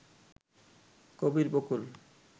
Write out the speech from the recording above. Kabir Bakul